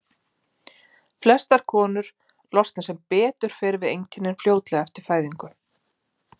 Flestar konur losna sem betur fer við einkennin fljótlega eftir fæðingu.